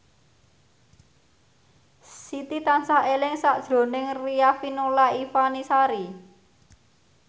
Siti tansah eling sakjroning Riafinola Ifani Sari